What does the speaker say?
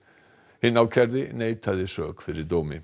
hinn ákærði neitaði sök fyrir dómi